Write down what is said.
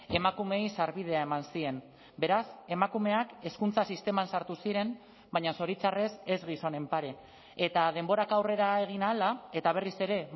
emakumeei sarbidea eman zien beraz emakumeak hezkuntza sisteman sartu ziren baina zoritxarrez ez gizonen pare eta denborak aurrera egin ahala eta berriz ere